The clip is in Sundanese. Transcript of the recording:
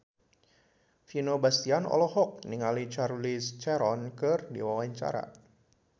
Vino Bastian olohok ningali Charlize Theron keur diwawancara